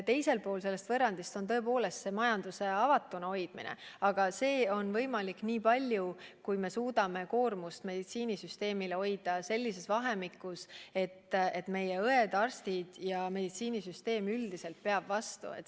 Teisel pool sellest võrrandist on tõepoolest majanduse avatuna hoidmine, aga see on võimalik niivõrd, kuivõrd me suudame meditsiinisüsteemi koormuse hoida niisuguse, et meie õed, arstid ja meditsiinisüsteem üldiselt peab vastu.